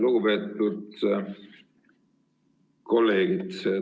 Lugupeetud kolleegid!